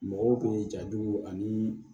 Mɔgɔw bɛ jaju ani